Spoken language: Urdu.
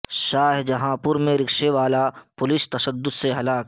شاہجہان پور میں رکشے والا پولیس تشدد سے ہلاک